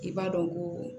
I b'a dɔn ko